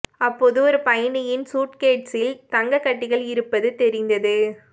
அப்போது ஒரு பயணியின் சூட்கேட்சில் தங்க கட்டிகள் இருப்பது தெரிந்தது